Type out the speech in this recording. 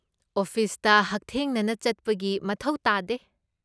ꯑꯣꯐꯤꯁꯇ ꯍꯛꯊꯦꯡꯅꯅ ꯆꯠꯄꯒꯤ ꯃꯊꯧ ꯇꯥꯗꯦ꯫